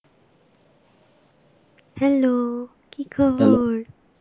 hello, কী খবর?